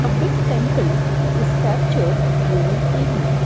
big temple is captured during evening.